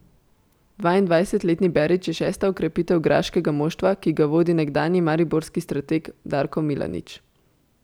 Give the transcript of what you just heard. Dvaindvajsetletni Berić je šesta okrepitev graškega moštva, ki ga vodi nekdanji mariborski strateg Darko Milanič.